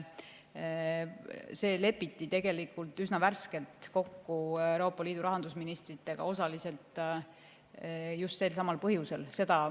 See lepiti üsna hiljuti Euroopa Liidu rahandusministritega kokku osaliselt just selsamal põhjusel.